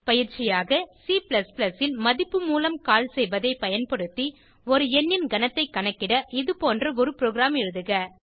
பயிற்சியாக C ல் மதிப்பு மூலம் கால் செய்வதைப் பயன்படுத்தி ஒரு எண்ணின் கனத்தைக் கணக்கிட இதுபோன்ற ஒரு புரோகிராம் எழுதுக